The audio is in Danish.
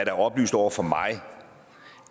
er oplyst over for mig